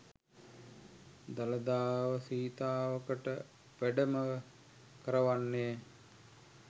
දළදාව සීතාවකට වැඩම කරවන්නේ